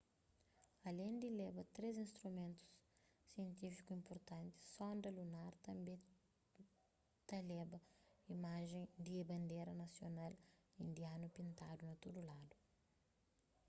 alén di leba três instrumentu sientífiku inpurtanti sonda lunar tanbê tleba imajen di bandera nasional indianu pintadu na tudu ladu